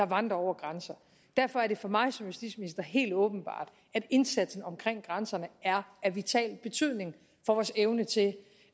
vandrer over grænser derfor er det for mig som justitsminister helt åbenbart at indsatsen omkring grænserne er af vital betydning for vores evne til